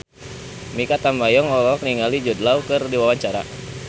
Mikha Tambayong olohok ningali Jude Law keur diwawancara